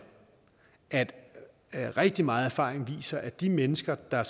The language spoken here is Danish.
at at rigtig meget erfaring viser at de mennesker der